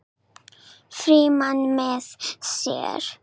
Frímann með sér.